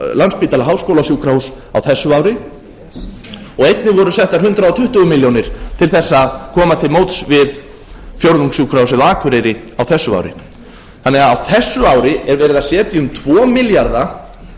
landspítala háskólasjúkrahúss á þessu ári og einnig voru settar hundrað tuttugu milljónir til þess að koma til móts við fjórðungssjúkrahúsið á akureyri á þessu ári á þessu ári er því verið að setja um tvo milljarða